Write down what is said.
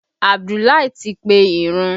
Abudulai ti pe ìrun